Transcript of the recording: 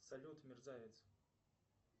салют мерзавец